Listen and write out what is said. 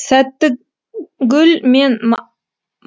сәттігүл мен